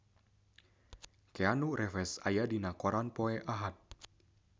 Keanu Reeves aya dina koran poe Ahad